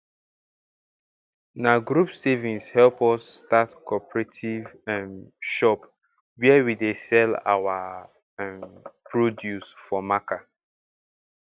na group savings help us start cooperative um shop where we dey sell our um produce for marker